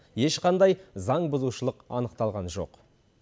ешқандай заңбұзушылық анықталған жоқ